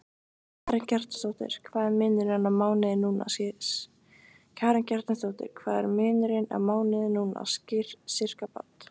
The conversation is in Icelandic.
Karen Kjartansdóttir: Hvað er munurinn á mánuði núna, sirkabát?